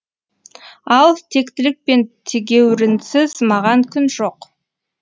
ал тектілік пен тегеурінсіз маған күн жоқ